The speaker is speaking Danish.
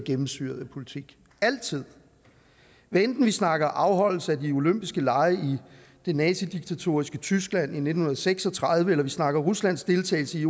gennemsyret af politik altid hvad enten vi snakker afholdelse af de olympiske lege i nazidiktaturet tyskland i nitten seks og tredive eller vi snakker ruslands deltagelse i